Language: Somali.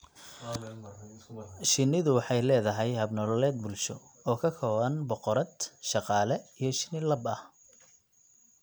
Shinnidu waxay leedahay hab nololeed bulsho, oo ka kooban boqorad, shaqaale, iyo shinni lab ah.